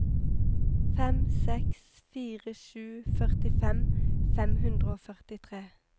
fem seks fire sju førtifem fem hundre og førtitre